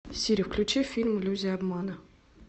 сири включи фильм иллюзия обмана